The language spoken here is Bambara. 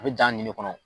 A bɛ dan ɲini kɔnɔ